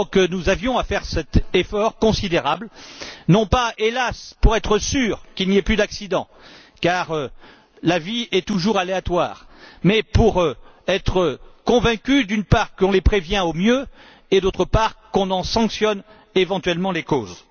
Nous avions donc à faire cet effort considérable, non pas hélas pour être sûrs qu'il n'y ait plus d'accidents, car la vie est toujours aléatoire, mais pour être convaincus, d'une part, qu'on les prévient au mieux et, d'autre part, qu'on en sanctionne éventuellement les causes.